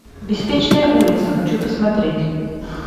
беспечная улица хочу посмотреть